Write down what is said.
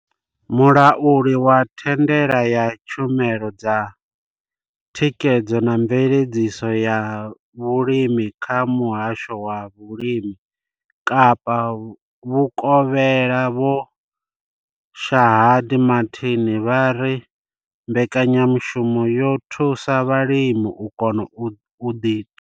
Mulauli wa thandela ya tshumelo dza thikhedzo na mveledziso ya vhulimi kha muhasho wa vhulimi Kapa vhukovhela Vho Shaheed Martin vha ri mbekanyamushumo yo thusa vhalimi u kona u ḓi.